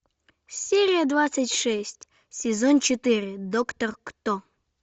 серия двадцать шесть сезон четыре доктор кто